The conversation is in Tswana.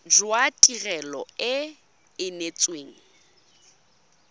jwa tirelo e e neetsweng